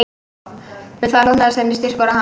Við það hlotnaðist henni styrkur og hamingja